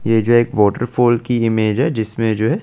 ये जो एक वॉटरफॉल की इमेज है जिसमे ये जो है ।